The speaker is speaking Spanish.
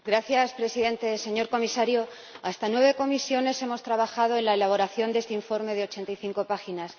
Señor Presidente, señor Comisario, hasta nueve comisiones hemos trabajado en la elaboración de este informe de 85 páginas.